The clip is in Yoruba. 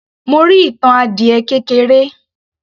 Mo rí ìtàn adiẹ kékeré